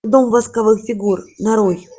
дом восковых фигур нарой